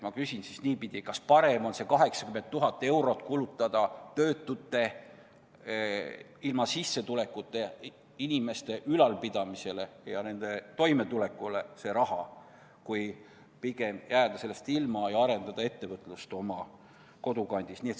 Ma küsingi niipidi: kas parem on 80 000 eurot kulutada töötute, ilma sissetulekuta inimeste ülalpidamisele ja nende toimetulekule ja jääda nii ilma võimalusest arendada ettevõtlust oma kodukandis?